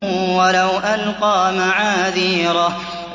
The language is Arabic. وَلَوْ أَلْقَىٰ مَعَاذِيرَهُ